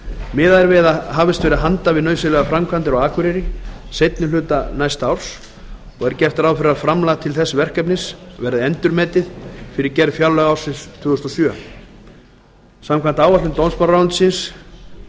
miðað er við að hafist verði handa við nauðsynlegar framkvæmdir á akureyri seinni hluta næsta árs og er gert ráð fyrir að fjárframlag til þess verkefnis verði endurmetið fyrir gerð fjárlaga ársins tvö þúsund og sjö samkvæmt áætlun dómsmálaráðuneytisins er